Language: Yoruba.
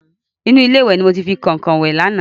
Inú ilé ìwẹ̀ ni mo ti fi kọ̀nkọ̀n wẹ̀ lánàá.